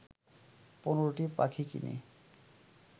১৫টি পাখি কিনে